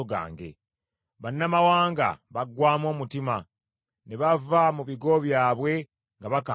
Bannamawanga baggwaamu omutima ne bava mu bigo byabwe nga bakankana.